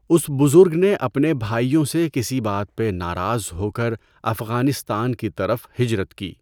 اس بزرگ نے اپنے بھاٸیوں سے کسی بات پہ ناراض ہو کر افغانستان کی طرف ہجرت کی۔